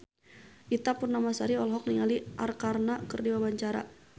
Ita Purnamasari olohok ningali Arkarna keur diwawancara